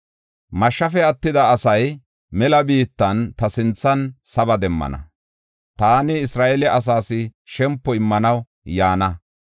“Mashshafe attida asay mela biittan ta sinthan saba demmana. Taani Isra7eele asaas shempo immanaw yaana.